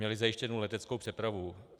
Měly zajištěnu leteckou přepravu.